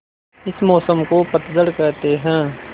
इस मौसम को पतझड़ कहते हैं